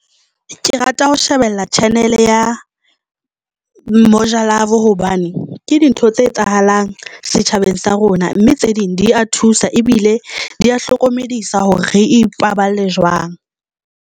Ke rata ho shebella channel ya Moja Love hobane ke dintho tse etsahalang setjhabeng sa rona mme tse ding di a thusa ebile di hlokomedisa hore re ipaballe jwang.